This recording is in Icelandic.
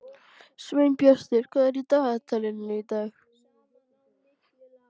Sveinbjartur, hvað er í dagatalinu í dag?